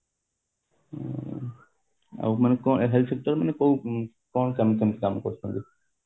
ହଁ ଆଉ କଣ ମାନେ health sector ମାନେ କୋଉ କଣ କେମିତି କାମ କରୁଛୁ